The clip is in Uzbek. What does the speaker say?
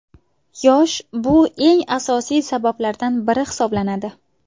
Yosh Bu eng asosiy sabablardan biri hisoblanadi.